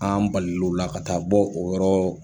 An balil'o la ka taa bɔ o yɔrɔ